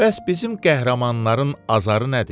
Bəs bizim qəhrəmanların azarı nədir?